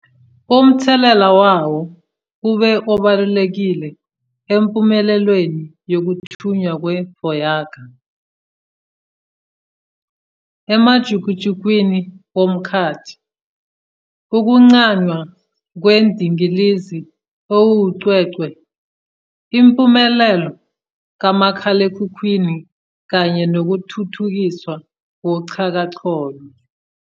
Umthelela wawo ube obalulekile empumelelweni yokuthunywa kwe -Voyager emajukujukwini omkhathi, ukuqanjwa kwendingilizi ewucwecwe, impumelelo kamakhalekhukhwini kanye nokuthuthukiswa koxhakaxholo.